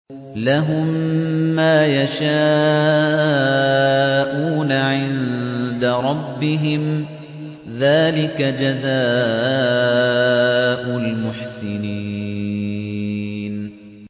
لَهُم مَّا يَشَاءُونَ عِندَ رَبِّهِمْ ۚ ذَٰلِكَ جَزَاءُ الْمُحْسِنِينَ